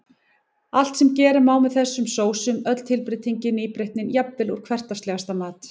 Allt sem gera má með þessum sósum, öll tilbreytingin, nýbreytnin, jafnvel úr hversdagslegasta mat.